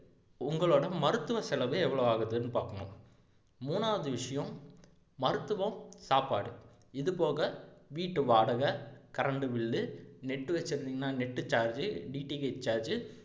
உங்களோட மருத்துவ செலவு எவ்வளவு ஆகுதுனு பாக்கணும் மூணாவது விஷயம் மருத்துவம் சாப்பாடு இது போக வீட்டு வாடகை current bill, net வச்சிருந்தீங்கன்னா net charge உ